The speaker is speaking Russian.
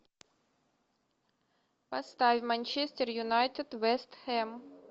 поставь манчестер юнайтед вест хэм